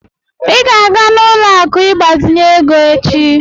I ga-aga n'ụlọ akụ ịgbazinye ego echi.